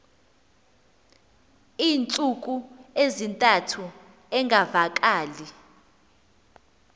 iintsuku ezintathu engavakali